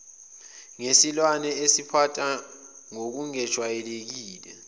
ngesilwane esiziphatha ngokungajwayelekile